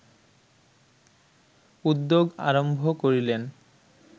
উদ্যোগ আরম্ভ করিলেন